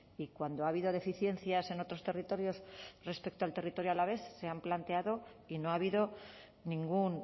y cuando ha habido deficiencias en otros territorios respecto al territorio alavés se han planteado y no ha habido ningún